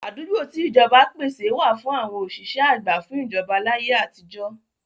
Àdúgbò tí ìjọba pèsè wà fún àwọn òṣìṣẹ́ àgbà fún ìjọba láyé àtijọ́.